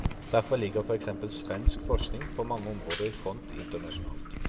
Derfor ligger for eksempel svensk forskning på mange områder i front internasjonalt.